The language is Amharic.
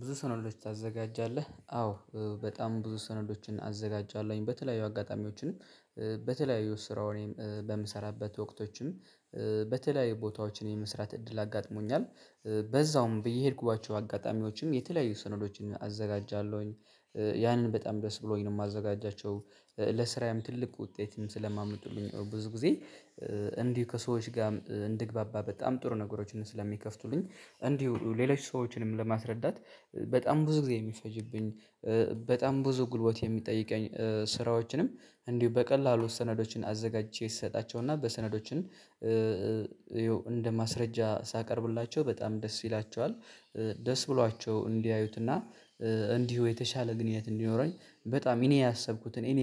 ብዙ ሰነዶች ታዘጋጃለህ? አዎ በጣም ብዙ ሰነዶችን አዘጋጃለሁኝ፥ በተለያዩ አጋጣሚዎችንም በተለያዩ ስራውን በምሰራበት ወቅቶችም በተለያዩ ቦታዎችን የመስራት እድል አጋጥሞኛል፥ በዛውም ብዬ የሄድኩባቸው አጋጣሚዎችም የተለያዩ ስነዶችን አዘጋጃለሁኝ ያንን በጣም ደስ ብሎኝ ነው የማዘጋጃቸው ለስራም ትልቅ ውጤትም ስለማመጡልኝ ብዙ ጊዜ እንዲህ ከሰዎች ጋር እንድግባባ በጣም ጥሩ ነገሮችን ስለሚከፍቱልኝ እንዲሁ ሌሎች ሰዎችንም ለማስረዳት በጣም ብዙ ጊዜ የሚፈጅብኝ በጣም ብዙ ጉልበት የሚጠይቀኝ ስራዎችንም እንዲሁ በቀላሉ ሰነዶችን አዘጋጅቼ ይሰጣቸውና በሰነዶችን እንደ ማስረጃ ሳቀርብላቸው በጣም ደስ ይላቸዋል። ደስ ብሏቸው እንዲያዩትና እንዲሁ የተሻለ ግንኙነት እንዲኖረኝ በጣም እኔ ያሰብኩትን እኔ